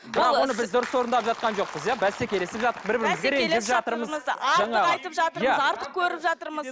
дұрыс орындап жатқан жоқпыз иә бәсекелесіп бір бірімізге ренжіп жатырмыз артық айтып жатырмыз артық көріп жатырмыз